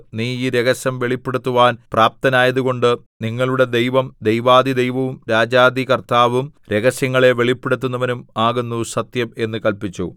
നീ ഈ രഹസ്യം വെളിപ്പെടുത്തുവാൻ പ്രാപ്തനായതുകൊണ്ട് നിങ്ങളുടെ ദൈവം ദൈവാധിദൈവവും രാജാധികർത്താവും രഹസ്യങ്ങളെ വെളിപ്പെടുത്തുന്നവനും ആകുന്നു സത്യം എന്ന് കല്പിച്ചു